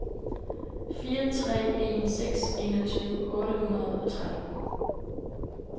fire tre en seks enogtyve otte hundrede og tretten